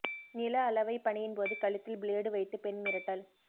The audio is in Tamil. நில அளவை பணியின் போது கழுத்தில் பிளேடு வைத்து பெண் மிரட்டல்